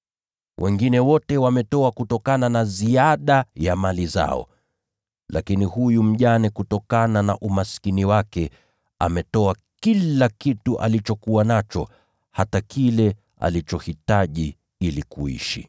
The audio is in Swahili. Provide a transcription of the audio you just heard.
Wengine wote wametoa kutokana na ziada ya mali zao. Lakini huyu mjane ametoa kutokana na umaskini wake, akaweka kila kitu alichokuwa nacho, hata kile alichohitaji ili kuishi.”